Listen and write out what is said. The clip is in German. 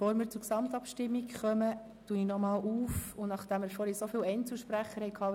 Machen Sie mässig von der Möglichkeit, das Wort nochmals zu ergreifen, Gebrauch.